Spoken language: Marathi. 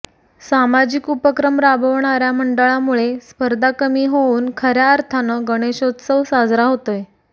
सामाजिक उपक्रम राबवणाऱ्या मंडळांमुळे स्पर्धा कमी होऊन खऱ्या अर्थान गणेशोत्सव साजरा होतोय